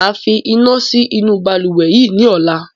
Máa fi iná sí inú Balùwẹ́ yìí ni ọ̀la